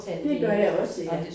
Det gør jeg også ja